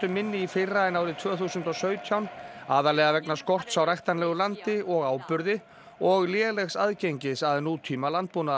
minni í fyrra en árið tvö þúsund og sautján aðallega vegna skorts á ræktanlegu landi og áburði og lélegs aðgengis að nútíma